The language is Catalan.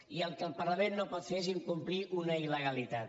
i el que el parlament no pot fer és incomplir una illegalitat